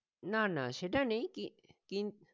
না না সেটা নেই কি~কিন